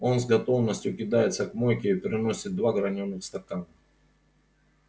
он с готовностью кидается к мойке и приносит два гранёных стакана